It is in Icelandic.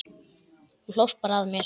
Þú hlóst bara að mér.